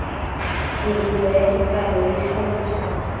tiriso ya dipalo le tlhaloso